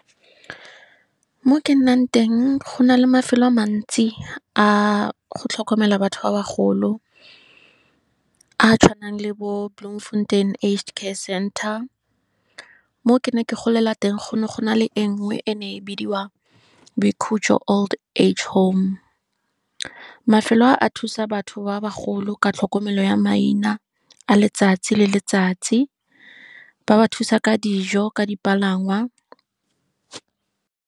Mo ke nnang teng go na le mafelo a mantsi a go tlhokomela batho ba bagolo, a tshwanang le bo Bloemfontein Age Care Center, mo ke ne ke golela teng go ne go na le engwe and e bidiwa Boikhutso Old Age Home. Mafelo a thusa batho ba bagolo ka tlhokomelo ya maina, a letsatsi le letsatsi, ba ba thusa ka dijo, ka dipalangwa.